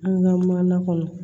An ka mana kɔnɔ